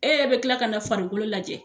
E yɛrɛ be kila ka na farikolo lajɛ